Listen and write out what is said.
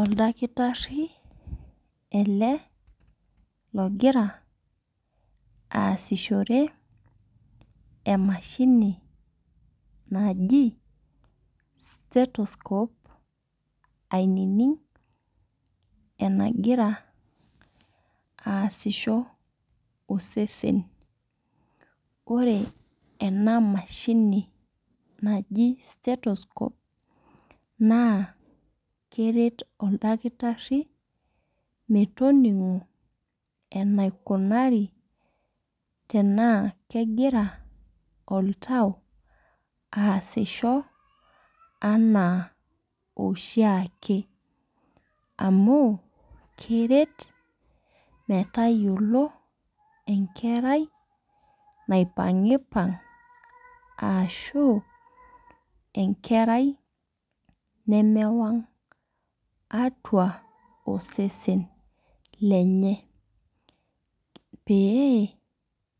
Oldakitari ele logira aasishore emashini naji stethoscope ainining' anigira aasisho osesen . Ore ena mashini naji stethoscope naa keret oldakitari metoning'o enaikunari tenaa kegira oltau aasisho anaa oshiake amu keret metayiolo enkerai naipang'ipang' arashu enkerai nemewang' atua osesen lenye pee